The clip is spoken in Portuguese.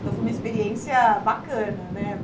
Então, foi uma experiência bacana, né?